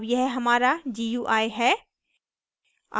अब यह हमारा gui है